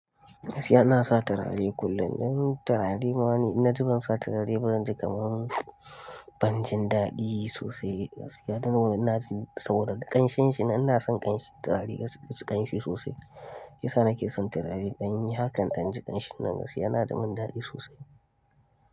Gaskiya ina sa turare kullum. Turare ma in na ji ban sa turare ba zan ji kamar ban jin daɗi sosai gaskiya. Tor saboda ƙanshin shi, ina son ƙanshin turare gaskiya, ƙanshi sosai. Shi ya nake son turare don haka in ji ƙanshin nan gaskiya yana da min daɗi sosai.